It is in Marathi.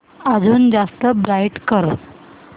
अजून जास्त ब्राईट कर